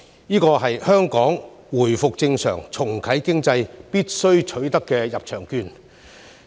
為了讓香港回復正常、重啟經濟，我們必須取得這張入場券。